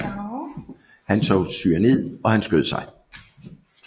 Hun tog cyanid og han skød sig